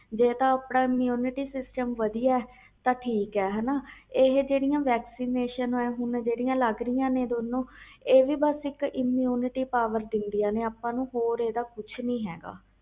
ਜੇ ਤੇ ਆਪਣਾ immunity system ਵਧੀਆ ਤਾ ਠੀਕ ਹੈ ਇਹ ਜਿਹੜੀਆਂ vaccination ਲੱਗ ਰਹੀਆਂ ਨੇ ਦੋਨੂੰ ਇਹ ਇਕ immunity power ਦੀਦਿਆਂ ਨੇ ਹੋਰ ਇਹਦਾ ਕੁਛ ਨਹੀਂ ਹੈ